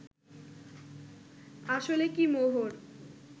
আসলে কি মোহর